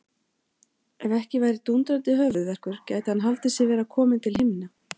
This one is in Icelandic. Ef ekki væri dúndrandi höfuðverkur gæti hann haldið sig vera kominn til himna.